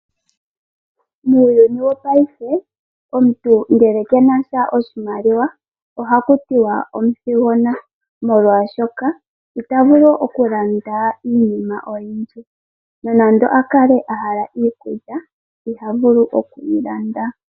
Muuyuni wopayife omuntu ngele kena sha oshimaliwa oha ku tiwa omuthigona, molwashoka ita vulu okulanda iinima oyindji. Nonando a kale a hala iikulya iha vulu oku yi landa.